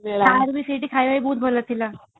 ତାର ବି ସେଇଠି ଖାଇବାର ବହୁତ ଭଲ ଥିଲା